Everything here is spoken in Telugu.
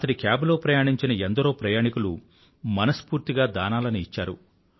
అతడి కేబ్ లో ప్రయాణించిన ఎందరో ప్రయాణికులు మనస్ఫూర్తిగా దానాలని ఇచ్చారు